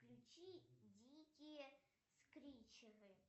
включи дикие скричеры